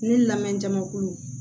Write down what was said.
Ne lamɛn jamakulu